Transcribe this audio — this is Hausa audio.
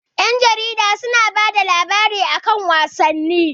Ƴan jarida su na bada labarai a kan wasanni